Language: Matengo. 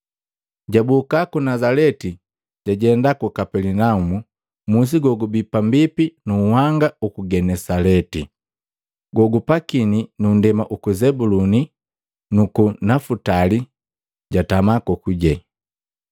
Jaboka ku Nazaleti, jajenda ku Kapelinaumu, musi gogubii pambipi nu nhanga uku Genesaleti, gogupakini nu nndema uku Zebuluni nuku Nafutali, jatama kokuje.